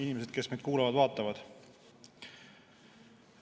Inimesed, kes meid kuulavad-vaatavad!